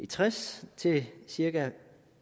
tres til cirka